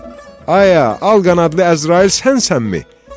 Ayə, alqanadlı Əzrail sənsənmi?